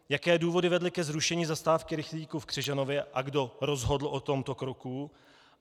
Jaké důvody vedly ke zrušení zastávky rychlíků v Křižanově a kdo rozhodl o tomto kroku?